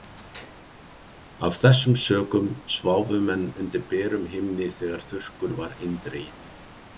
Af þessum sökum sváfu menn undir berum himni þegar þurrkur var eindreginn.